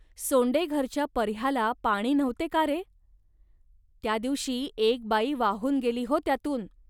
सोंडेघरच्या पर्ह्याला पाणी नव्हते का रे. त्या दिवशी एक बाई वाहून गेली हो त्यातून